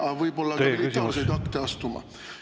… aga võib-olla ka militaarseid akte.